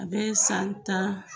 A bɛ san tan